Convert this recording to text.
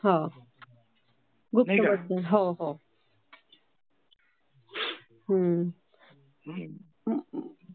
हो, हो. हो, हो. हो.